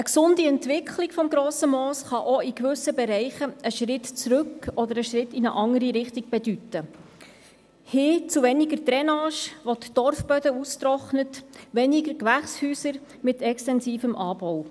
Eine gesunde Entwicklung des Grossen Mooses kann in gewissen Bereichen auch einen Schritt zurück oder einen Schritt in eine andere Richtung bedeuten: hin zu weniger Drainage, welche die Torfböden austrocknet oder zu weniger Gewächshäuser mit extensivem Anbau.